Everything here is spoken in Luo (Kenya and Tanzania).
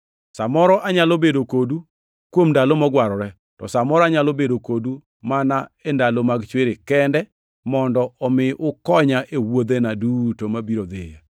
Sa moro anyalo bedo kodu kuom ndalo mogwarore, to sa moro anyalo bedo kodu mana e ndalo mag chwiri kende mondo omi ukonya e wuodhena duto mabiro dhiyoe.